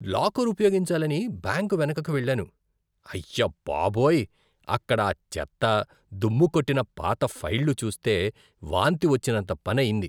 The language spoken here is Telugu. లాకరు ఉపయోగించాలని బ్యాంకు వెనుకకు వెళ్ళాను. అయ్యబాబోయ్, అక్కడ ఆ చెత్త, దుమ్ముకొట్టిన పాత ఫైళ్లు చూస్తే వాంతి వచ్చినంత పని అయింది.